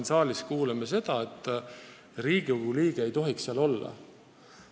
Pidevalt me kuuleme siin saalis, et Riigikogu liikmed ei tohiks nõukogudes olla.